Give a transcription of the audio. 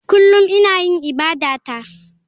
Kullum ina yin ibadata.